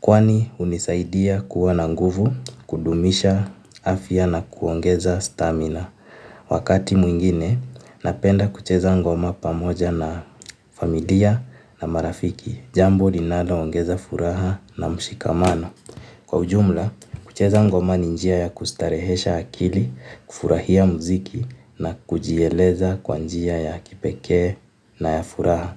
Kwani unisaidia kuwa na nguvu, kudumisha afya na kuongeza stamina. Wakati mwingine, napenda kucheza ngoma pamoja na familia na marafiki. Jambo linalo ongeza furaha na mshikamano. Kwa ujumla, kucheza ngoma ni njia ya kustarehesha akili, kufurahia mziki na kujieleza kwa njia ya kipeke na ya furaha.